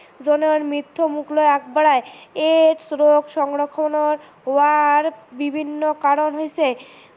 জনৰ মৃত্যু মুখলৈ আগ বঢ়াই, AIDS ৰোগ হোৱাৰ বিভিন্ন কাৰন হৈছে